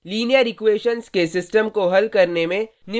linear equations के system को हल करने में